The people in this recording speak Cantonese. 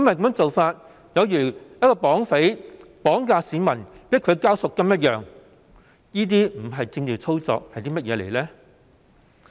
這做法有如一名綁匪綁架市民來強迫我們繳交贖金，這不是政治操作又會是甚麼？